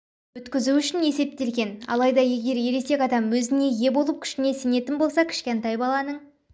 өткізу үшін есептелген алайда егер ересек адам өзіне ие болып күшіне сенетін болса кішкентай баланың